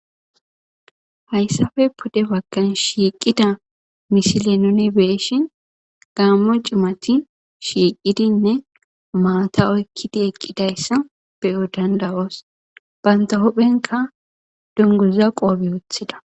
Hayssafe pode baggan shiiqida misile nuni beeshin gaammo c'imati shiiqidinne maata oykkidi eqqidayssa beyo danda'oos banta hophenka dunguza qoophe woothida